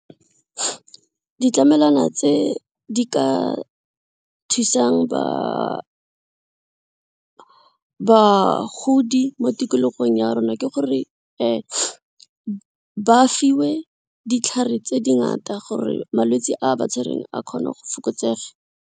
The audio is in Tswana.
Ditlamelwana tse di ka thusang bagodi mo tikologong ya rona ke gore ba fiwe ditlhare tse dingata gore malwetse a ba tshwereng a kgone go fokotsega.